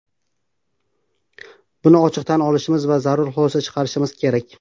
Buni ochiq tan olishimiz va zarur xulosa chiqarishimiz kerak.